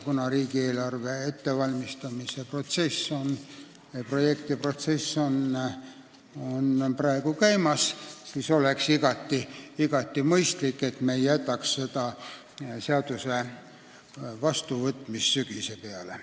Kuna riigieelarve projekti ettevalmistamise protsess praegu käib, siis oleks igati mõistlik, et me ei jätaks selle seaduse vastuvõtmist sügise peale.